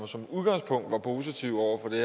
som udgangspunkt er positive over for det